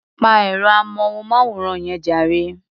Pa ẹ̀rọ-amóhùnmáwòrán yẹn jàre.